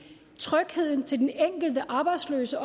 trygheden til den enkelte arbejdsløse